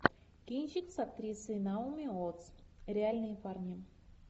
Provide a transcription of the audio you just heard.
кинчик с актрисой наоми уоттс реальные парни